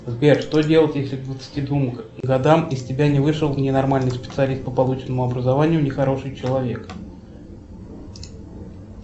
сбер что делать если к двадцати двум годам из тебя не вышел ни нормальный специалист по полученному образования ни хороший человек